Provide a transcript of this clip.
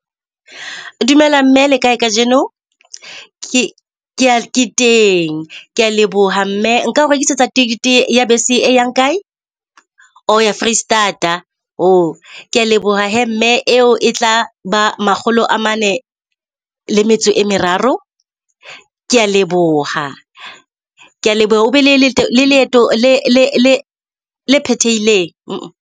Dumela mme le kae kajeno? Ke ke teng. Ke a leboha mme nka o rekisetsa ticket ya bese e yang kae? O ya Foreisetata. Ke a leboha he mme eo e tla ba makgolo a mane le metso e meraro. Ke a leboha, ke a leboha o be le leeto le le phetehileng.